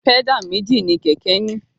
Pẹ́dà méjì mi kẹ̀kẹ́ ní.